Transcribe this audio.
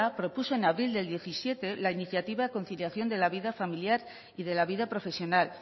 propuso en abril del diecisiete la iniciativa conciliación de la vida familiar y de la vida profesional